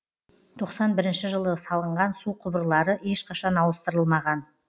тоқсан бірінші жылы салынған су құбырлары ешқашан ауыстырылмаған